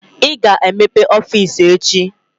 Ị ga-emepe ọfiisi echi!